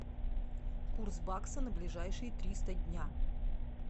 курс бакса на ближайшие триста дня